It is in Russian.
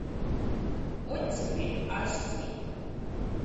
оттепель аш ди